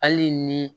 Hali ni